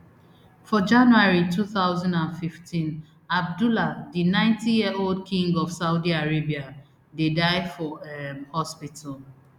for january two thousand and fifteen abdullah di ninetyyearold king of saudi arabia dey die for um hospital